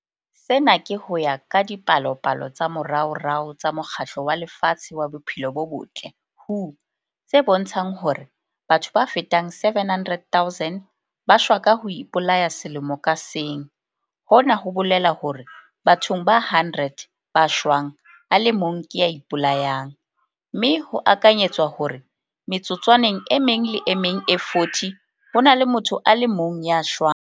Sena ke ho ya ka dipalopalo tsa moraorao tsa Mokgatlo wa Lefatshe wa Bophelo bo Botle, WHO, tse bontshang hore batho ba fetang 700 000 ba shwa ka ho ipolaya selemo ka seng. Hona ho bolela hore bathong ba 100 ba shwang a le mong ke ya ipolayang, mme ho akanyetswa hore metsotswaneng e meng le e meng e 40 ho na le motho a le mong ya shwang.